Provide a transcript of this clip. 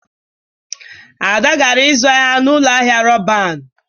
Ada gara ịzụ ahịa na ụlọ ahịa Roban.